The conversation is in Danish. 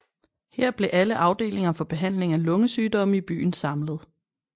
Her blev alle afdelinger for behandling af lungesygdomme i byen samlet